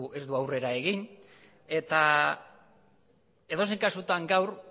ez du aurrera egin eta edozein kasutan gaur